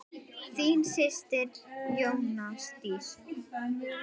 Þín systir Jóna Dísa.